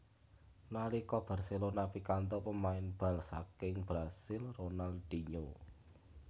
Nalika Barcelona pikantuk pemain bal saking Brasil Ronaldinho